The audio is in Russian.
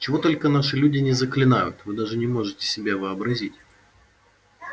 чего только наши люди не заклинают вы даже не можете себе вообразить